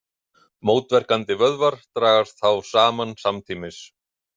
Mótverkandi vöðvar dragast þá saman samtímis.